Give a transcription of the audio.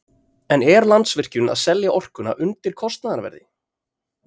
En er Landsvirkjun að selja orkuna undir kostnaðarverði?